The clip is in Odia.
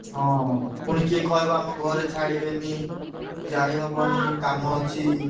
ହଁ ପୁଣି କିଏ କହିବ ଆମ ଘରେ ଛାଡ଼ିବେନି। ଯାଇହବନି କାମ ଅଛି।